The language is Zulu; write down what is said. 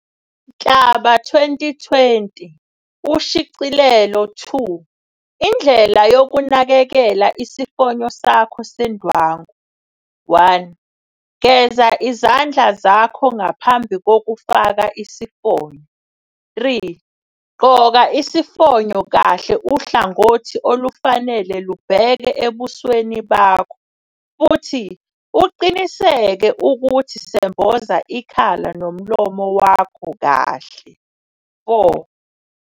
Nhlaba 2020, Ushicilelo 2, Indlela yokunakekela isifonyo sakho sendwangu. 1. Geza izandla zakho ngaphambi kokufaka isifonyo. 3. Gqoka isifonyo kahle uhlangothi olufanele lubheke ebusweni bakho, futhi uqiniseke ukuthi semboza ikhala nomlomo wakho kahle. 4.